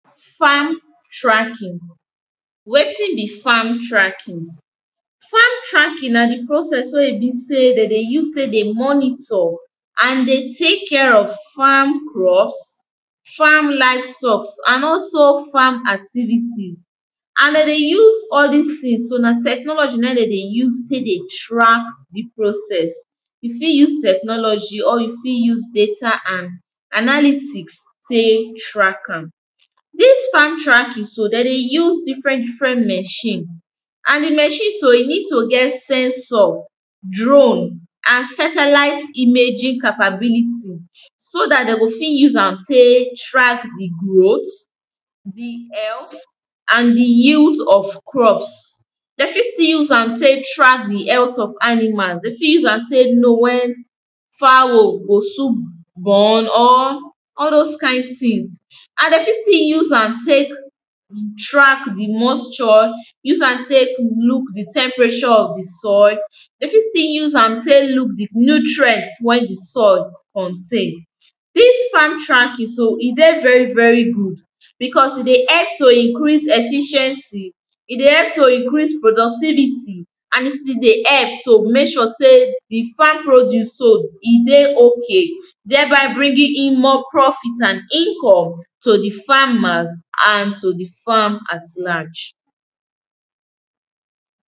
farm tracking, wetin be farm tracking? farm tracking na di process wey e be sey dem dey use take dey monitor and dey tek care of farm crops, farm livestocks and also farm activity. and dem dey use all dis things so na technology na im dem dey use tek dey track di process, you fit use technology or you fit use data an analytics take track am. dis farm tracking so dem dey use different different machine, and di machine so e need to get sensor, drone and satellite imaging capability. so dat dem go fit use am tek track di growth, di health and di yields of crops. dem fit still use am take track the health of animal, dem fit use am take know when fowl go soon born or all those kind things and dem fit still use am take track di moisture, use am take look di temperature of di soil, dem fit still use am tek look di nutrient when di soil contain, dis farm tracking so e de very very good because e dey help to increase efficiency, e dey help to increase productivity, and e still dey help to make sure sey di farm produce so e dey okay, thereby bringing in more profit and income to di farmers and to di farm at large.